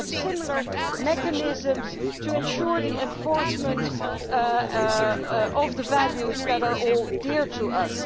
It would have similar mechanisms to ensure the enforcement of the values that are all dear to us.